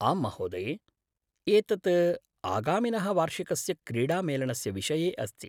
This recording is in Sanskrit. आम्महोदये! एतत् आगामिनः वार्षिकस्य क्रीडामेलनस्य विषये अस्ति।